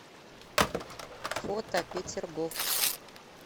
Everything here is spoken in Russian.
фото петергоф